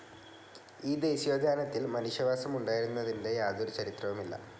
ഈ ദേശീയോദ്യാനത്തിൽ മനുഷ്യവാസം ഉണ്ടായിരുന്നതിന്റെ യാതൊരു ചരിത്രവുമില്ല.